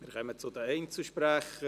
Wir kommen zu den Einzelsprechern: